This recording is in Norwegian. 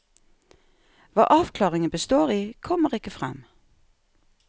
Hva avklaringen består i, kommer ikke frem.